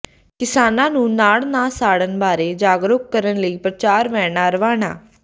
ਕਿਸਾਨਾਂ ਨੂੰ ਨਾੜ ਨਾ ਸਾੜਨ ਬਾਰੇ ਜਾਗਰੂਕ ਕਰਨ ਲਈ ਪ੍ਰਚਾਰ ਵੈਨਾਂ ਰਵਾਨਾ